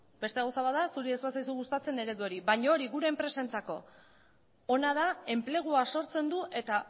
beste gauza bat da zuri ez bazaizu gustatzen eredu hori baina hori gure enpresentzako ona da enplegua sortzen du eta